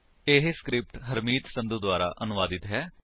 ਇਹ ਸਕਰਿਪਟ ਹਰਮੀਤ ਸੰਧੂ ਦੁਆਰਾ ਅਨੁਵਾਦਿਤ ਹੈ